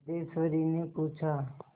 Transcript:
सिद्धेश्वरीने पूछा